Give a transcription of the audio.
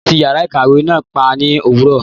Wọn tí yàrá ìkàwé náà pa ní òwúrọ̀.